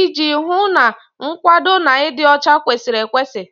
iji hụ na nkwado na ịdị ọcha kwesịrị ekwesị